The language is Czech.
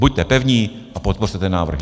Buďte pevní a podpořte ten návrh!